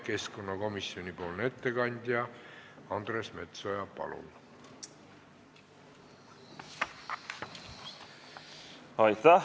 Keskkonnakomisjoni ettekandja Andres Metsoja, palun!